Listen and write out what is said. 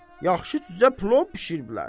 Yaxşı cücə plov bişiriblər.